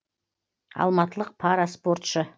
алматылық пара спортшы